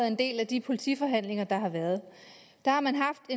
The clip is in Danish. en del af de politiforhandlinger der har været der har man haft